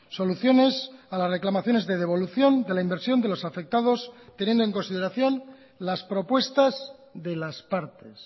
soluciones a las reclamaciones de devolución de la inversión de los afectados teniendo en consideración las propuestas de las partes